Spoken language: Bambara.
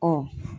Ɔ